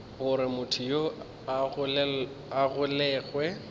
gore motho yoo a golegwe